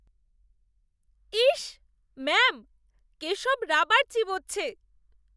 Is! Ma'am, Keshab rubber চিবোচ্ছে।